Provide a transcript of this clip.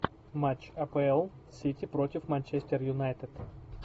матч апл сити против манчестер юнайтед